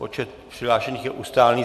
Počet přihlášených je ustálený.